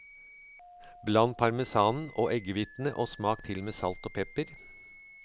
Bland parmesanen og eggehvitene og smak til med salt og pepper.